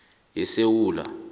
yesewula